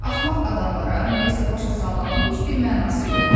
axmaq adamlara nəyisə başa salmağın heç bir mənası yoxdur.